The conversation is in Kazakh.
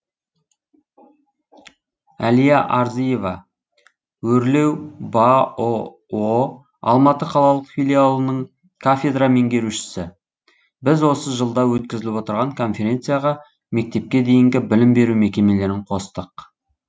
әлия арзиева өрлеу баұо алматы қалалық филиалының кафедра меңгерушісі біз осы жылда өткізіліп отырған конференцияға мектепке дейінгі білім беру мекемелерін қостық